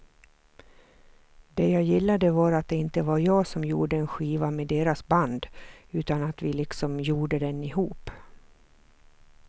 Det jag gillade var att det inte var jag som gjorde en skiva med deras band utan att vi liksom gjorde den ihop.